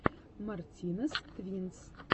мартинез твинс